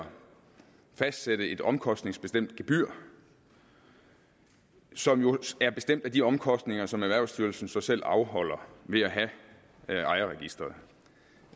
fastsætte et omkostningsbestemt gebyr som jo er bestemt af de omkostninger som erhvervsstyrelsen så selv afholder ved at have ejerregisteret